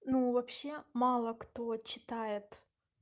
ну вообще мало кто читает